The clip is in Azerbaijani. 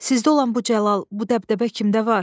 Sizdə olan bu cəlal, bu dəbdəbə kimdə var?